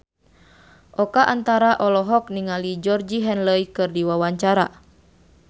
Oka Antara olohok ningali Georgie Henley keur diwawancara